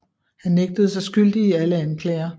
Han nægtede sig skyldig i alle anklager